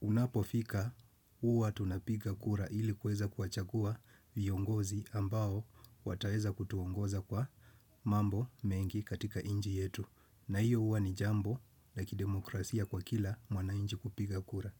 unapofika uwa tunapiga kura ili kweza kuachagua viongozi ambao wataeza kutuongoza kwa mambo mengi katika inji yetu. Na hiyo uwa ni jambo la kidemokrasia kwa kila mwanainji kupiga kura.